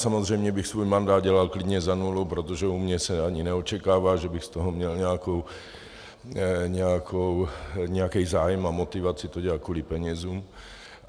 Samozřejmě bych svůj mandát dělal klidně za nulu, protože u mne se ani neočekává, že bych z toho měl nějaký zájem a motivaci to dělat kvůli penězům.